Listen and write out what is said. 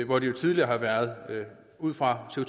hvor det jo tidligere har været ud fra co